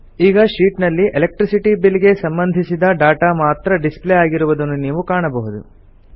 ಈಗ ಶೀಟ್ ನಲ್ಲಿ electricity bill ಗೆ ಸಂಬಂಧಿಸಿದ ಡಾಟಾ ಮಾತ್ರ ಡಿಸ್ಪ್ಲೇ ಆಗಿರುವುದನ್ನು ನೀವು ಕಾಣಬಹುದು